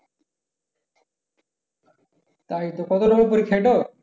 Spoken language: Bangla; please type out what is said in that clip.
তাই তো কত নাম্বারের পরীক্ষা এটা?